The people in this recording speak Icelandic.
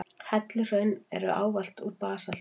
Helluhraun eru ávallt úr basalti.